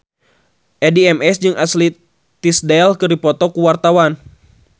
Addie MS jeung Ashley Tisdale keur dipoto ku wartawan